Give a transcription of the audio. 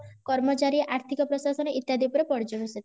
କର୍ମଚାରୀ ଆର୍ଥିକ ପ୍ରଶାସନ ଇତ୍ୟାଦି ଉପରେ ପର୍ଜ୍ୟବେଶିତ